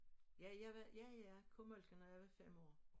Ja jeg var ja jeg kunne malke når jeg var 5 år